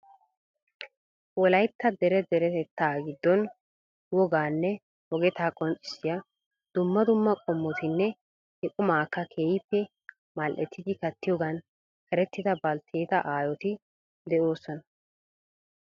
Wolaytta dere deretetta giddon woganne wogeta qonccissiya dumma qumma qommotinne he qumakka keehippe mal"ettidi kattiyoogan erettida baltteeta aayyoti de'oosona .